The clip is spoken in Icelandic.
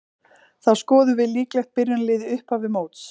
Þá skoðum við líklegt byrjunarlið í upphafi móts.